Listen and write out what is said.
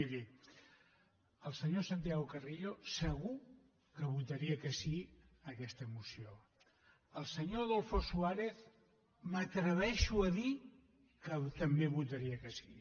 miri el senyor santiago carrillo segur que votaria que sí a aquesta moció el senyor adolfo suárez m’atreveixo a dir que també votaria que sí